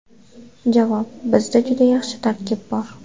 Javob: Bizda juda yaxshi tarkib bor.